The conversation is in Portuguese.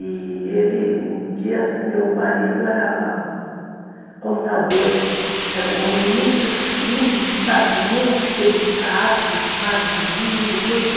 E ele, um dia, meu marido era contador, era um homem muito fino, sabe, muito delicado, magrinho, todo.